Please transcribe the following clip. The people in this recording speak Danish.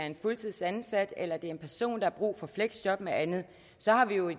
en fuldtidsansat eller det er en person der har brug for fleksjob med andet